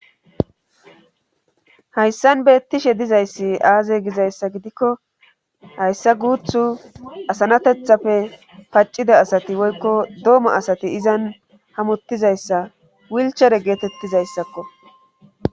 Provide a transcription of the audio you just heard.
Hayssan beettishe dizayssi aaze gizayssa gidikko hayssa guuthu asanatethapfe paccida asati woykko dooma asati izan hamottizayssa wilchere geetettizayssakko.